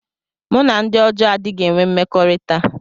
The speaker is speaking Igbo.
Mụ na ndi njọ adighi enwe mmekọrita.